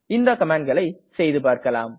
இந்த கமாண்ட்களை செய்துபார்க்கலாம்